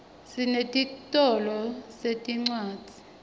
sinetitolo setincwadzi